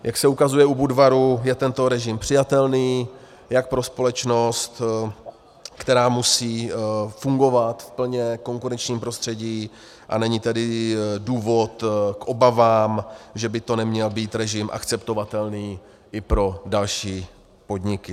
Jak se ukazuje u Budvaru, je tento režim přijatelný jak pro společnost, která musí fungovat v plně konkurenčním prostředí, a není tady důvod k obavám, že by to neměl být režim akceptovatelný i pro další podniky.